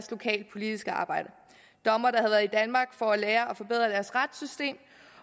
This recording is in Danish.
lokalpolitiske arbejde dommere der i danmark for at lære at forbedre deres retssystem